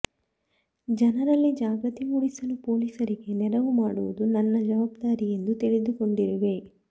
ಜನರಲ್ಲಿ ಜಾಗೃತಿ ಮೂಡಿಸಲು ಪೊಲೀಸರಿಗೆ ನೆರವು ಮಾಡುವುದು ನನ್ನ ಜವಾಬ್ದಾರಿಯೆಂದು ತಿಳಿದುಕೊಂಡಿರುವೆ